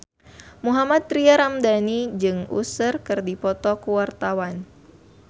Mohammad Tria Ramadhani jeung Usher keur dipoto ku wartawan